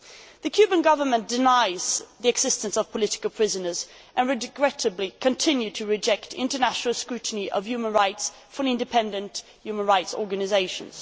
The Cuban Government denies the existence of political prisoners and regrettably continues to reject international scrutiny of human rights from independent human rights organisations.